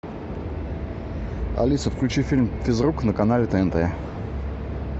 алиса включи фильм физрук на канале тнт